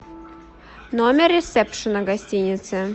номер ресепшена гостиницы